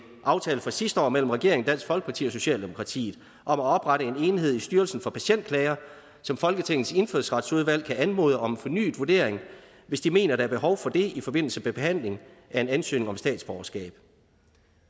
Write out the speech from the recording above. aftale fra sidste år mellem regeringen dansk folkeparti og socialdemokratiet om at oprette en enhed i styrelsen for patientklager som folketingets indfødsretsudvalg kan anmode om fornyet vurdering hvis de mener der er behov for det i forbindelse med behandlingen af en ansøgning om statsborgerskab